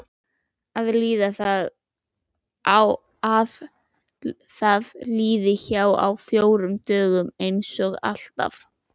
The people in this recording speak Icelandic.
Að það líði hjá á fjórum dögum einsog alltaf.